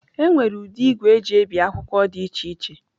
Enwere ụdị igwe eji ebi akwụkwọ dị iche iche.